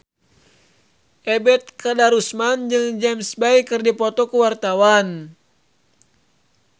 Ebet Kadarusman jeung James Bay keur dipoto ku wartawan